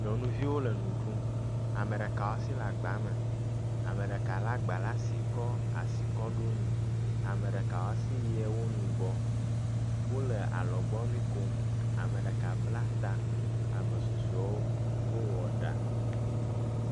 Nyɔnuviwo le nu ɖum. Ame ɖeka wɔ asi le agba me, ame ɖeka le agba ɖe asi kɔ asi kɔ ɖo nu, ame ɖeka wɔ asi yie wo nugbɔ. Wo le alɔgbu kom. Ame ɖeka bla ta, ame susɔewo wowɔ ɖa.